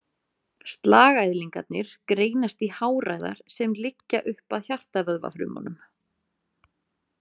Slagæðlingarnir greinast í háræðar sem liggja upp að hjartavöðvafrumunum.